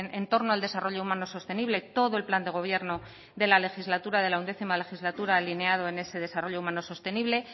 en torno al desarrollo humano sostenible todo el plan de gobierno de la legislatura de la undécima legislatura alineado en ese desarrollo humano sostenible